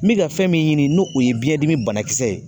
N mi ka fɛn min ɲini n'o o ye biyɛn dimi banakisɛ ye